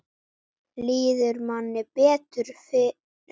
Líður manni betur við það?